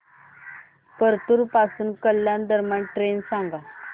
परतूर पासून कल्याण दरम्यान ट्रेन सांगा